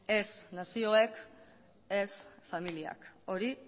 ez nazioek ez familiak hori